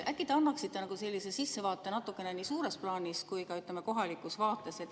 Äkki te annaksite natukene sissevaadet nii suures plaanis kui ka kohalikus vaates?